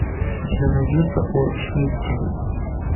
у тебя найдется о шмидте